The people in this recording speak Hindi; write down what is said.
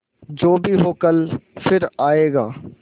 जो भी हो कल फिर आएगा